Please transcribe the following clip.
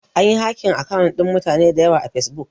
Anyi hakin akawun ɗin mutane dayawa a fesbuk